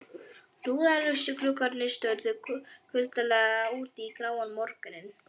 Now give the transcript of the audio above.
Rúðulausir gluggarnir störðu kuldalega út í gráan morguninn.